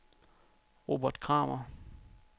Robert Kramer